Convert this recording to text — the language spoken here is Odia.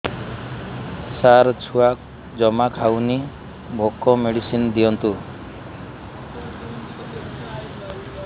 ସାର ଛୁଆ ଜମା ଖାଉନି ଭୋକ ମେଡିସିନ ଦିଅନ୍ତୁ